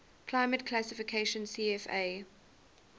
climate classification cfa